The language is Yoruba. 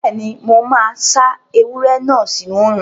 Bẹ́ẹ̀ni, mo máa sá ewúro náà sínu òrùn